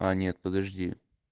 а нет подожди